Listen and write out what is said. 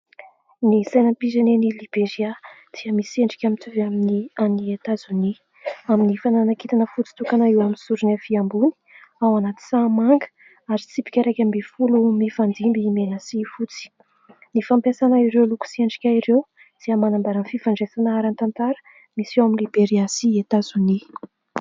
Ny sainam-pirenen'i Liberia dia misy endrika mitovy amin'ny an'i Etazonia, amin'ny fananana kintana fotsy tokana eo amin'ny sorony avia ambony ao anaty sahamanga ary tsipika iraikambin'ny folo mifandimby mena sy fotsy. Ny fampiasana ireo loko sy endrika ireo dia manambara ny fifandraisana ara-tantara misy eo amin'i Liberia sy Etazonia.